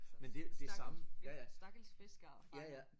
Så stakkels stakkels fiskere og fangere